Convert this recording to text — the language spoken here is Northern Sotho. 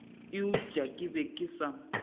eupša ke be ke sa